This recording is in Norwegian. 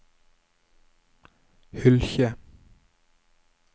Hylkje